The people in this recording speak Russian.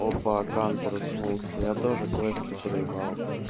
опа кан проснулся я тоже квесты проебал